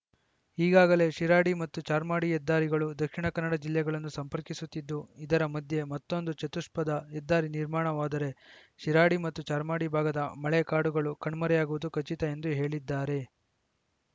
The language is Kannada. ಈಗಾಗಲೇ ಶಿರಾಡಿ ಮತ್ತು ಚಾರ್ಮಾಡಿ ಹೆದ್ದಾರಿಗಳು ದಕ್ಷಿಣ ಕನ್ನಡ ಜಿಲ್ಲೆಗಳನ್ನು ಸಂಪರ್ಕಿಸುತ್ತಿದ್ದು ಇದರ ಮಧ್ಯೆ ಮತ್ತೊಂದು ಚತುಷ್ಪಥ ಹೆದ್ದಾರಿ ನಿರ್ಮಾಣವಾದರೆ ಶಿರಾಡಿ ಮತ್ತು ಚಾರ್ಮಾಡಿ ಭಾಗದ ಮಳೆಕಾಡುಗಳು ಕಣ್ಮರೆಯಾಗುವುದು ಖಚಿತ ಎಂದು ಹೇಳಿದ್ದಾರೆ